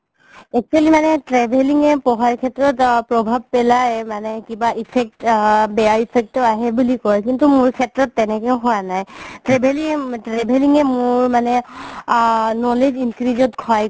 actually মানে travelling য়ে পঢ়াৰ শেত্ৰত প্ৰভাব পেলাই মানে কিবা effect বেয়া effect ও আহে বুলি কয় কিন্তু মোৰ শেত্ৰত তেনেকে হুৱা নাই travelling, travelling য়ে মোৰ মানে আ knowledge increase ত সহায়